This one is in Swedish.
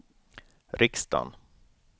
riksdagen